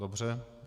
Dobře.